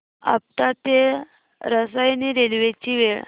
आपटा ते रसायनी रेल्वे ची वेळ